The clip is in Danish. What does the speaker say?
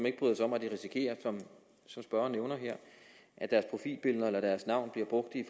ikke bryder sig om at risikere som spørgeren nævner her at deres profilbilleder eller deres navn bliver brugt i